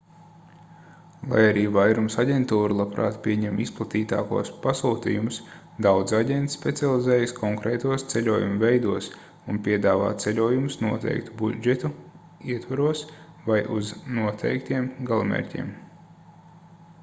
lai arī vairums aģentūru labprāt pieņem izplatītākos pasūtījumus daudzi aģenti specializējas konkrētos ceļojumu veidos un piedāvā ceļojumus noteiktu budžetu ietvaros vai uz noteiktiem galamērķiem